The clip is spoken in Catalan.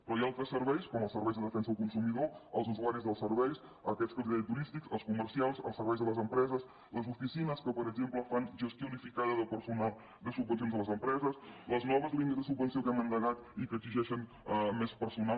però hi ha altres serveis com els serveis de defensa del consumidor els usuaris dels serveis aquests que els deia turístics els comercials els serveis a les empreses les oficines que per exemple fan gestió unificada de personal de subvencions de les empreses les noves línies de subvenció que hem endegat i que exigeixen més personal